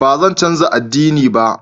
Ba zan canza ad'dini ba.